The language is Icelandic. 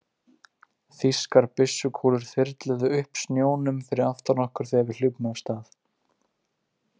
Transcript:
Þýskar byssukúlur þyrluðu upp snjónum fyrir aftan okkur þegar við hlupum af stað.